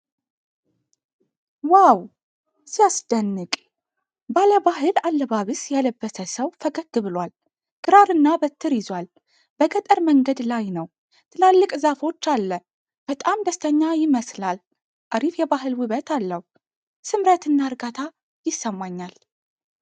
ዋው! ሲያስደንቅ! ባለባህል አለባበስ የለበሰ ሰው ፈገግ ብሏል። ክራር እና በትር ይዟል። በገጠር መንገድ ላይ ነው። ትላልቅ ዛፎች አለ። በጣም ደስተኛ ይመስላል። አሪፍ የባህል ውበት አለው። ስምረት እና እርጋታ ይሰማኛል።